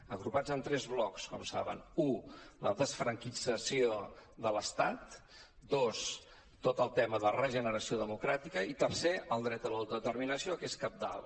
agrupats en tres blocs com saben u la desfranquització de l’estat dos tot el tema de regeneració democràtica i tercer el dret a l’autodeterminació que és cabdal